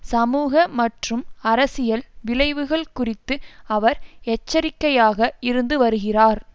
சமூக மற்றும் அரசியல் விளைவுகள் குறித்து அவர் எச்சரிக்கையாக இருந்து வருகிறார்